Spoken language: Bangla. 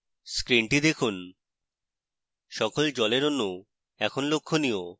screen দেখুন; সকল জলের অণু এখন লক্ষণীয়